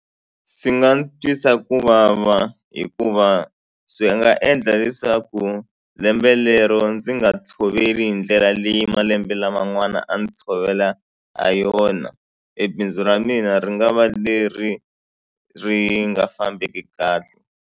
Swi nga ndzi twisa ku vava hikuva swi nga endla leswaku lembe lero ndzi nga tshoveli hi ndlela leyi malembe laman'wana a ndzi tshovela ha yona e bindzu ra mina ri nga va leri ri nga fambeki kahle.